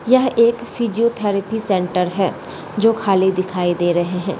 यह एक physiotherapy centre है जो खाली दिखाई दे रहे है।